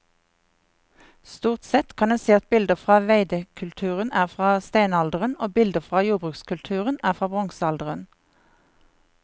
Stort sett kan en si at bilder fra veidekulturen er fra steinalderen og bilder fra jordbrukskulturen er fra bronsealderen.